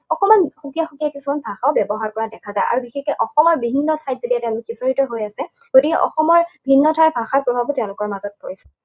অকণমান সুকীয়া সুকীয়া কিছুমান ভাষা ব্যৱহাৰ কৰা দেখা যায়। আৰু বিশেষকে অসমৰ বিভিন্ন ঠাইত যেতিয়া তেওঁলোক সিঁচৰিত হৈ আছে, গতিকে অসমৰ ভিন্ন ঠাইৰ ভাষাৰ প্ৰভাৱো তেওঁলোকৰ মাজত পৰিছে।